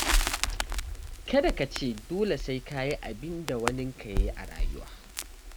Kada ka ce dole sai ka yi abinda waninka ya yi a rayuwa.